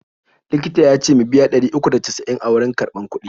Likitar ya ce in biya ɗari uku da casa'in a wurin karɓar kuɗi.